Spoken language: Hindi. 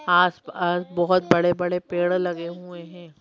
आसपास बोहोत बड़े बड़े पेड़ लगे हुए हैं।